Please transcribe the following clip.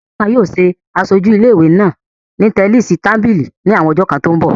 Lékan yóò ṣe aṣojú ilé ìwé náà ní tẹníìsì tábìlì ní àwọn ọjọ́ kan tó ń bọ̀